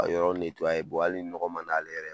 Ka yɔrɔ hali nɔgɔ man di ale yɛrɛ ye